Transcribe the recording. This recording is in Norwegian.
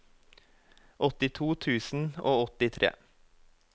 åttito tusen og åttitre